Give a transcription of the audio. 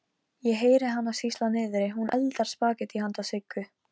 Berghildur, er opið í Ríkinu?